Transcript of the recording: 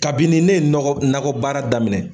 Kabini ne ye nɔgɔ, nakɔ baara daminɛ.